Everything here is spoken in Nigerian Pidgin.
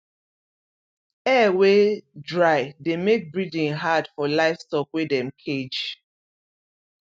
air wey dry de make breathing had for livestock wey dem cage